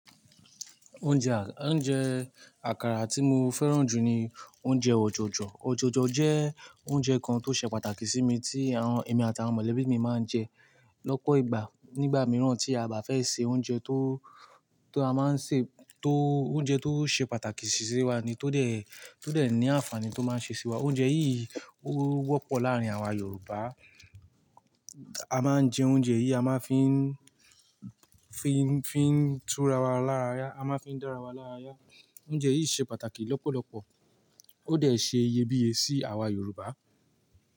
Oúnjẹ àkàrà tí mo fẹ́ràn jù ni oúnjẹ ọjọjọ̀. Ọjọjọ̀ jẹ́ oúnjẹ kan tó ṣe pàtàkì sí mi tí àwọn èmi àti àwọn mọ̀lẹ́bí mi máa ń jẹ lọ́pọ̀ ìgbà. Nígbà mìíràn tí a bá fẹ́ sè oúnjẹ tó, tó a máa ń sè, tó oúnjẹ tó ṣe pàtàkì sí wa ni, tó dẹ̀, tó dẹ̀ ní àǹfààní tó máa ń ṣe sí wa. Oúnjẹ yìí ó wọ́pọ̀ láàárín àwa Yorùbá. A máa ń jẹ oúnjẹ yìí, a máa ń fi, fi, fi ń tura wa lára ya. A máa ń fi dára wa lára ya. Oúnjẹ yìí ṣe pàtàkì lọ́pọ̀lọpọ̀. Ó dẹ̀ ṣe iyebíye sí àwa Yorùbá.